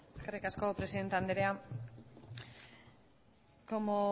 eskerrik asko presidente andrea como